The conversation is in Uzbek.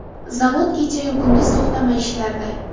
Zavod kechasiyu kunduz to‘xtamay ishlardi.